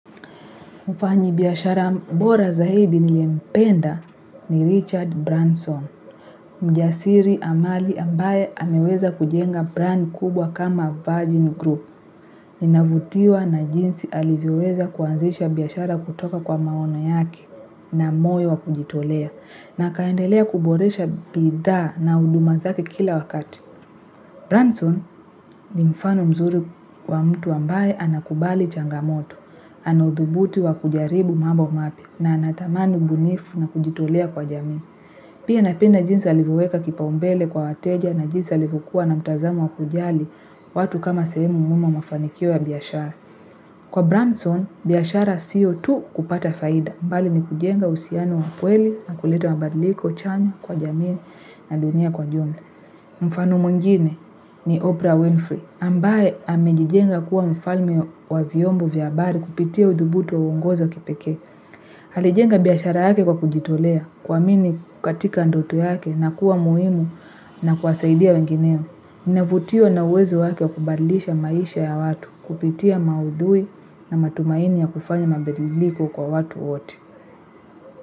Mfanyabiashara bora zaidi niliyempenda ni Richard Branson, mjasiri ambaye ameweza kujenga brand kubwa kama Virgin Group. Ninavutiwa na jinsi alivyoweza kuanzisha biashara kutoka kwa maono yake na moyo wa kujitolea, na akaendelea kuboresha bidhaa na huduma zake kila wakati. Branson ni mfano mzuri wa mtu ambaye anakubali changamoto, anaye thubutu kujaribu mambo mapya na anatamani ubunifu na kujitolea kwa jamii. Pia napenda jinsi alivyoweka kipaumbele kwa wateja na jinsi alivyokuwa na mtazamo wa kujali watu kama sehemu muhimu ya mafanikio ya biashara. Kwa Branson biashara sio tu kupata faida. Mbali ni kujenga uhusiano wa kweli na kuleta mabadliko chanya kwa jamii na dunia kwa jumla mfano mwingine ni Oprah Winfrey. Ambaye amejijenga kuwa mfalme wa vyombo vya habari kupitia udhubutu wa uongozi wa kipeke. Alijenga biashara yake kwa kujitolea, kuamini katika ndoto yake na kuwa muhimu na kuwasaidia wengineo. Ninavutiwa na uwezo wake kubadilisha maisha ya watu kupitia maudhui na matumaini ya kufanya mabadiliko kwa watu wote.